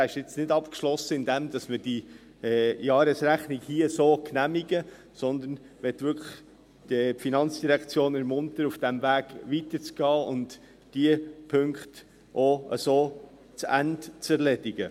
Er ist nicht abgeschlossen, indem wir diese Jahresrechnung hier so genehmigen, sondern ich möchte die FIN wirklich ermuntern, auf diesem Weg weiterzugehen und diese Punkte auch so zu Ende zu erledigen.